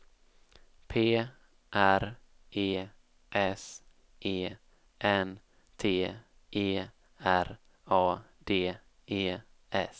P R E S E N T E R A D E S